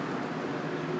Bu da normaldır.